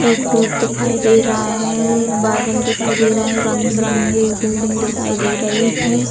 एक रोड दिखाई दे रहा है बादल दिखाई दे रहा है रंग बिरंगे एक बिल्डिंग दिखाई दे रहे हैं।